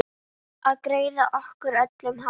Að greiða okkur öllum hárið.